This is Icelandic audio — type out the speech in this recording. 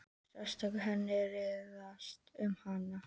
Sársauki hennar hríslaðist um hann.